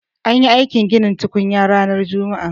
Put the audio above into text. An yi aikin ginin tukunyar ranar juma'a.